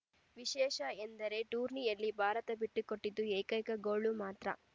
ವಿಶೇಷ ಎಂದರೆ ಟೂರ್ನಿಯಲ್ಲಿ ಭಾರತ ಬಿಟ್ಟುಕೊಟ್ಟಿದ್ದು ಏಕೈಕ ಗೋಲು ಮಾತ್ರ